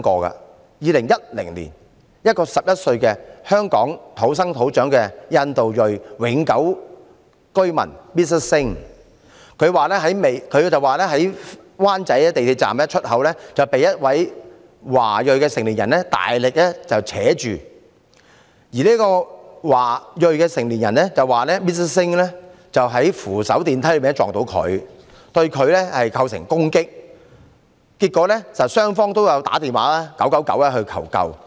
在2010年，一名11歲在香港土生土長的印度裔永久居民 Mr SINGH 表示，在灣仔港鐵站出口被一名華裔成年人大力拉扯，而這名華裔成年人卻表示 ，Mr SINGH 在扶手電梯上碰到他，對他構成攻擊，結果雙方均致電999求救。